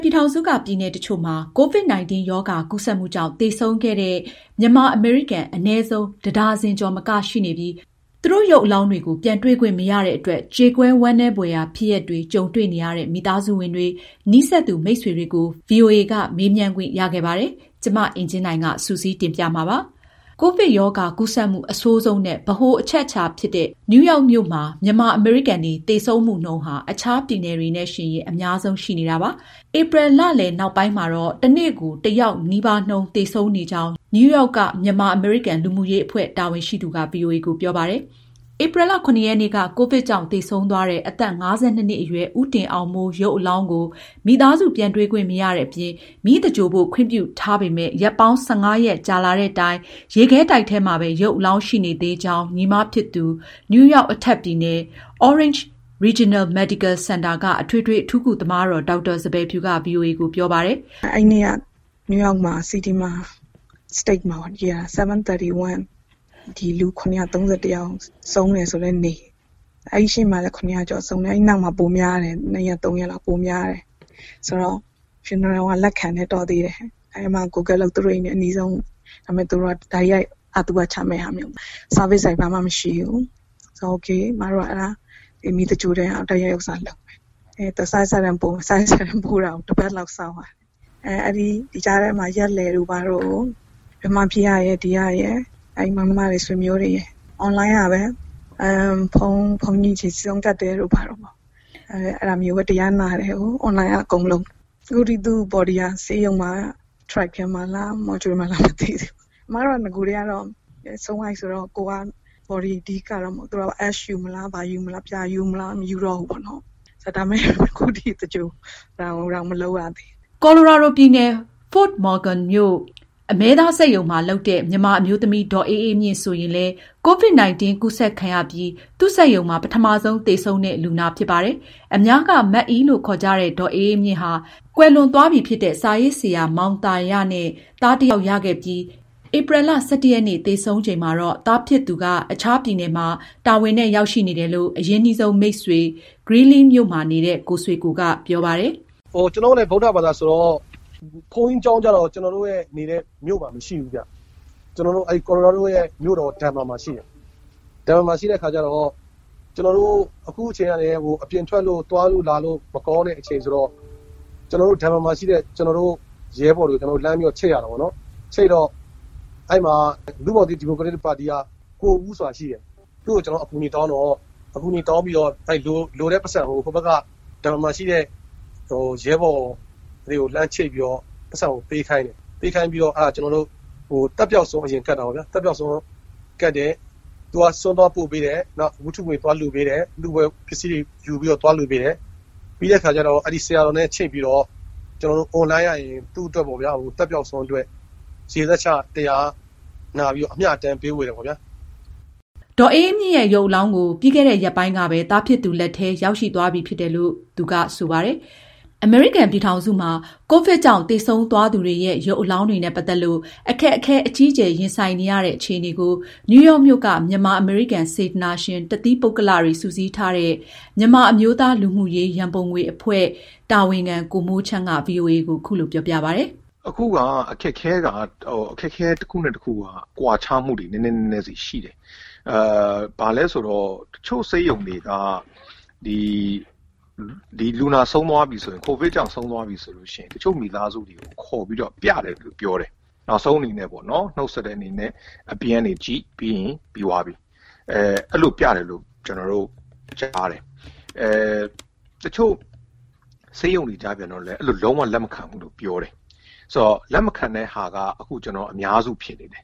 ပြည်ထောင်စုက ပြည်နယ်တချို့မှာ COVID-19 ရောဂါ ကူးစက်မှုကြောင့် သေဆုံးခဲ့တဲ့ မြန်မာ အမေရိကန် အနည်းဆုံး တဒါဇင်ကျော် မကရှိနေပြီး သူတို့ရုပ်အလောင်းတွေကို ပြန်တွေ့ခွင့် မရတဲ့ အတွက် ကြေကွဲဝမ်းနည်းဖွယ်ဖြစ်ရပ်တွေ ကြုံတွေ့နေရတဲ့ မိသားစုဝင်တွေ၊ နီးစပ်သူ မိတ်ဆွေတွေကို ဗွီအိုအေက မေးမြန်းခွင့်ရခဲ့ပါတယ်။မအင်ကြင်းနိုင်က စုစည်းတင်ပြထားပါတယ်။ ကိုဗစ်ရောဂါကူးစက်မှု အဆိုးဆုံးနဲ့ ဗဟိုအချက်ဖြစ်တဲ့ နယူးရောက်မြို့မှာ မြန်မာ အမေရိကန်တွေ သေဆုံးမှုနှုန်း အခြားပြည်နယ်တွေနဲ့ ယှဉ်ရင် အများဆုံးရှိနေပါတယ်။ ဧပြီ လလယ်နောက်ပိုင်း တနေ့ကို တယောက်နှုန်းနီးပါးသေဆုံးနေကြောင်း နယူးရောက် က မြန်မာအမေရိကန် လူမှုရေးအဖွဲ့ တာဝန်ရှိသူက ဗွီအိုအေကို ပြောပါတယ်။ ဧပြီလ (၇)ရက်နေ့က ကိုဗစ်ကြောင့်သေဆုံးသွားတဲ့ အသက် ၅၂ နှစ်အရွယ် ဦးတင်အောင်မိုး ရုပ်အလောင်းကို မိသားစု ပြန်တွေ့ခွင့်မရတဲ့အပြင် မီးသဂြိုလ်ဖို့ ခွင့်ပြုထားပေမယ့် ရက်ပေါင်း ၁၅ ရက်ကြာလာတဲ့တိုင် ရုပ်အလောင်း ဘယ်မှာရှိနေသလဲဆိုတာ မသိရကြောင်း ညီမဖြစ်သူ နယူးရောက် အထက်ပြည်နယ် Orange Regional Medical စင်တာက အထွေထွေအထူးကု သမားတော် ဒေါက်တာ စံပယ်ဖြူက ဗွီအိုအေကိုပြောပါတယ်။ "သူဆုံးတဲ့နေ့တနေ့ထဲမှာ နယူးရောက်ပြည်နယ်တခုလုံး ကိုဗစ်ကြောင့် သေဆုံးသူပေါင်း ၇၃၁ ယောက်ဆုံးတယ် ဆိုတဲ့ နေ့ပါ။ နောက်ပိုင်း တရက်နှစ်ရက်မှာ သေဆုံးတဲ့နှုန်းက ပိုများတယ်။ ဒါပေမယ့် ဈာပနာလုပ်ပေးတဲ့နေရာက လက်ခံတယ်။ တော်သေးတယ်။ သူတို့အိမ်နဲ့ အနီးဆုံးပေါ့။ ဒါပေမဲ့ အရင်လို တိုက်ရိုက် ဈာပနာ အခမ်းအနားကို ဝန်ဆောင်မှုပေးတာမျိုး မရှိဘူး။ အဲတော့ မီးသင်္ဂြ ိုလ်မယ်ပေါ့။ စာရွက်စာတမ်းတွေ ပို့ပေးပါဆိုတော့ အသွားအပြန် တပတ်လောက်ကြာတယ်။ ဒီကြားထဲမှာ ရက်လည်အတွက်မြန်မာပြည်ကရယ် ၊ ဒီကရယ် မောင်နှမသားချင်း၊ ဆွေမျိုးတွေ အွန်လိုင်းကပဲ ဘုန်းကြီးကို ဆွမ်းကပ်ရတယ်။ အွန်လိုင်းကပဲ တရားနာရတယ်။ အခုထက်ထိ သူ body က ဆေးရုံမှာလား၊ အအေးခန်းရှိတဲ့ ထရပ်ကားထဲမှာလား၊ မော်ကျူလီထဲမှာလား၊ ဘယ်မှာရှိမှန်း မသိဘူး။" ကိုလိုရာဒိုပြည်နယ် Fort Morgan မြို့ အမဲသား စက်ရုံမှာ လုပ်တဲ့ မြန်မာအမျိုးသမီး ဒေါ်အေးအေးမြင့် ဆိုရင် လည်း COVID-19 ကူးစက်ခံရပြီး သူ့စက်ရုံမှာ ပထမဆုံးသေဆုံးတဲ့ လူနာဖြစ်ပါတယ်။ အများက မအိလို့ ခေါ်ကြတဲ့ ဒေါ်အေးအေးမြင့်ဟာ ကွယ်လွန်သွားပြီဖြစ်တဲ့ စာရေးဆရာမောင်သာရနဲ့ သားတယောက် ရခဲ့ပြီးဧပြီလ ၁၁ ရက် သေဆုံးချိန်မှာတော့ သားဖြစ်သူက အခြားပြည်နယ်မှာ တာဝန်နဲ့ရောက်ရှိနေတယ်လို့ အရင်းနှီးဆုံးမိတ်ဆွေ Greeley မြို့မှာ နေတဲ့ ကိုဆွေကို ကပြောပါတယ်။ "ကျနော်တို့လည်း ဗုဒ္ဓဘာသာဆိုတော့ ဘုန်းကြီးကျောင်းကျတော့ ကျနော်တို့ နေတဲ့ မြို့မှာ မရှိဘူးဗျ။ ကိုလိုရာဒို ပြည်နယ်မြို့တော် ဒန်ဗာမှာပဲရှိတာ။ အခုအချိန်ကလည်း အပြင်ထွက်လို့ သွားလို့လာလို့ မကောင်းတဲ့ အချိန်ဆိုတော့ ဒန်ဗာမှာရှိတဲ့ ကျနော်တို့ရဲဘော်တွေကိုလှမ်းပြီး ချိတ်ရတာပေါ့။ လူ့ဘောင်သစ် ဒီမိုကရက်တစ်ပါတီက ကိုဦးဆိုတာ ရှိတယ်။ သူ့ကို ကျနော်တို့ အကူအညီတောင်းပြီး သက်ပျောက်ဆွမ်း အရင်ကပ်တယ်။ သူက ဆွမ်းသွားပို့ပေးတယ်။ နောက် ဝတ္ထုငွေ သွားကပ်ပေးတယ်။ ပြီးတော့ ဆရာတော်နဲ့ အွန်လိုင်းကနေ ကျနော်တို့ကို ချိတ်ပြီး မအိ အတွက် သက်ပျောက်ဆွမ်းကပ် ရေစက်ချ၊ အမျှအတမ်းဝေပါတယ်။ " ဒေါ်အေးအေးမြင့်ရဲ့ ရုပ်အလောင်းကို ပြီးခဲ့တဲ့ ရက်ပိုင်းကပဲ သားဖြစ်သူ လက်ထဲ ရောက်ရှိ သွားပြီဖြစ်တယ်လို့လည်း ကိုဆွေကိုက ပြောပါတယ်။ အမေရိကန်ပြည်ထောင်စုမှာ ကိုဗစ်ရောဂါကြောင့် သေဆုံးသူတွေရဲ့ ရုပ်အလောင်း တွေနဲ့ ပတ်သက်လို့ အခက်အခဲအကြီးအကျယ်ရင်ဆိုင်နေရတဲ့ အခြေအနေကိုနယူးယောက်မြို့က မြန်မာအမေရိကန် စေတနာရှင် တသီးပုဂ္ဂလိကတွေစုစည်းထားတဲ့ မြန်မာအမျိုးသား လူမှုရေးရန်ပုံငွေအဖွဲ့ (National Humanitarian Fundraising for Myanmar - NHFMM) တာဝန်ခံ ကိုမိုးချမ်းက အခုလိုပြောပြပါတယ်။ "အခုက အခက်အခဲကွာခြားမှုတွေက တနေရာနဲ့တနေရာ နဲနဲဆီရှိတယ်။ တချို့ဆေးရုံတွေက လူနာ ကိုဗစ်ကြောင့် ဆုံးသွားပြီဆိုရင် တချို့မိသားစုတွေကို ခေါ်ပြီးပြတယ်လို့ ပြောတယ်။ နောက်ဆုံးအနေနဲ့ နှုတ်ဆက်တဲ့ အနေနဲ့ အပြင်ကနေ ကြည့်။ ပြီးရင် ပြန်။ အဲဒီလို ခေါ်ပြတယ်လို့ ကြားတယ်။ တချို့ဆေးရုံတွေကြတော့ အဲဒီလို မျိုး လုံးဝလက်မခံဘူးလို့ ပြောတယ်။ အဲဒီလို လက်မခံတဲ့ဟာက အများစုဖြစ်နေတယ်